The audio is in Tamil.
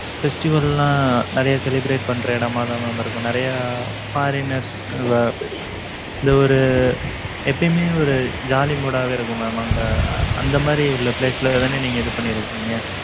festival லாம், நிறைய celebrate பண்ற இடமாதான், mam இருக்கும். நிறைய, foreigners இந்த இந்த ஒரு எப்பயுமே ஒரு jolly mood ஆவே இருக்கும் mam அங்க அந்த மாதிரி உள்ள place ல தானே நீங்க இது பண்ணி இருக்கீங்க?